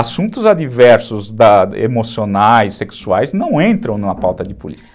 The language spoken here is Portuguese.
Assuntos adversos da, emocionais, sexuais, não entram na pauta de política.